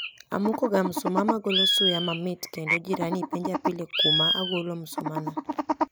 Amoko ga msumaa magolo suya mamit kendo jirani penja pile kuma agolo msuma no